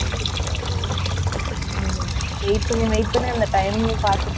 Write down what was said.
Wait பண்ணி, wait பண்ணி, அந்த timing பார்த்து போற மாதிரி இருக்கும் நமக்கு.